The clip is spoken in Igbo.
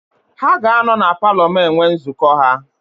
Ha ga-anọ na paalọ m enwe nzukọ ha.